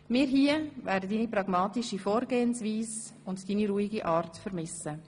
Wir hier werden deine pragmatische Vorgehensweise und deine ruhige Art vermissen.